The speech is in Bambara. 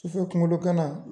Sufɛ kunkolo gana